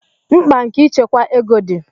mkpa nke ịchekwa ego di